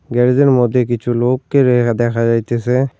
গ্যারেজের মধ্যে কিছু লোককে রে দেখা যাইতেসে।